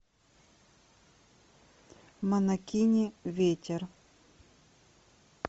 монокини ветер